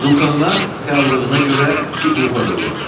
Vulcanlar fəallığına görə iki qrupa bölünür.